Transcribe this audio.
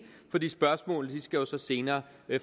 fordi spørgsmålene skal jo så senere